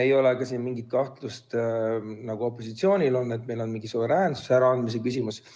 Ei ole ka mingit kahtlust, nagu opositsioonil on, et see oleks mingi suveräänsuse äraandmise küsimus.